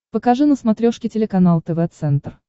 покажи на смотрешке телеканал тв центр